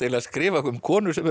að skrifa um konur sem eru